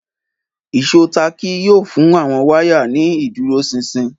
Ìṣó táàkì yóò fún àwọn wáyà ní ìdúróṣinṣin